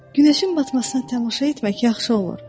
günəşin batmasını tamaşa etmək yaxşı olur.